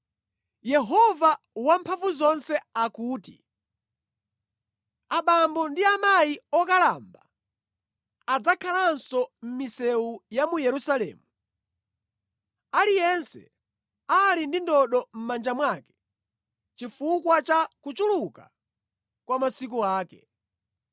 Yehova Wamphamvuzonse akuti, “Abambo ndi amayi okalamba adzakhalanso mʼmisewu ya mu Yerusalemu, aliyense ali ndi ndodo mʼmanja mwake chifukwa cha kuchuluka kwa masiku ake.